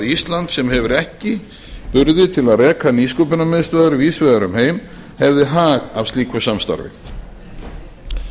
ísland sem hefur ekki burði til að reka nýsköpunarmiðstöðvar víðs vegar um heim hefði hag af slíku samstarfi forsætisráðherrarnir